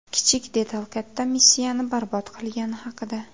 Kichik detal katta missiyani barbod qilgani haqida.